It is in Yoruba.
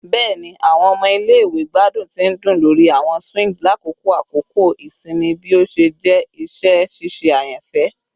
Bẹẹni, awọn ọmọ ile-iwe gbadun ti ndun lori awọn swings lakoko akoko isinmi bi o ṣe jẹ iṣẹ ṣiṣe ayanfẹ